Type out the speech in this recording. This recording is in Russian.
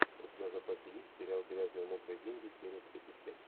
у тебя в запасе есть сериал грязные мокрые деньги серия тридцать пять